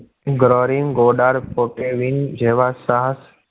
ઘોડા ફોટો વિન જેવા સાહસિક